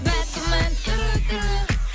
бәк күмән түрлі түрлі